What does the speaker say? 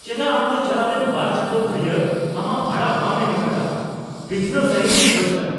ᱪᱮᱫᱟᱜ ᱟᱢ ᱫᱚ ᱪᱟᱞᱟᱣᱮᱱ ᱒ ᱪᱟᱸᱫᱚ ᱫᱷᱩᱨᱤᱭᱟᱹ ᱟᱢᱟᱜ ᱵᱷᱟᱲᱟ ᱵᱟᱢ ᱮᱢᱟᱠᱟᱫᱟ ? ᱵᱤᱪᱷᱱᱟᱹᱣ ᱥᱟᱹᱦᱤᱫᱤᱧ ᱠᱷᱚᱡ ᱠᱟᱱᱟ ᱾